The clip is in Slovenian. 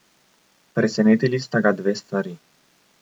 Presenetili sta ga dve stvari.